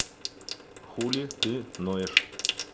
хули ты ноешь